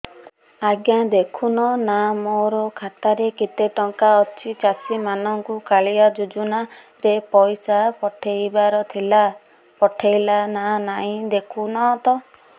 ଆଜ୍ଞା ଦେଖୁନ ନା ମୋର ଖାତାରେ କେତେ ଟଙ୍କା ଅଛି ଚାଷୀ ମାନଙ୍କୁ କାଳିଆ ଯୁଜୁନା ରେ ପଇସା ପଠେଇବାର ଥିଲା ପଠେଇଲା ନା ନାଇଁ ଦେଖୁନ ତ